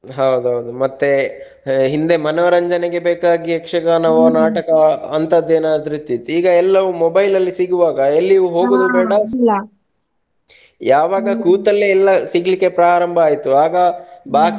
ಹೌದೌದು ಮತ್ತೆ ಹಿಂದೆ ಮನರಂಜನೆಗೆ ಬೇಕಾಗಿ ನಾಟಕ ಅಂತದೆಲ್ಲ ಏನಾದ್ರೂ ಇತ್ತಿತ್ತು ಇವಾಗ ಏನಾದ್ರೂ ಮೊಬೈಲ್ ಸಿಗುವಾಗ ಎಲ್ಲಿಗೂ . ಯಾವಾಗ ಎಲ್ಲ ಸಿಗ್ಲಿಕ್ಕೆ ಪ್ರಾರಂಭ ಆಯ್ತು ಆಗ ಬಾಕಿ.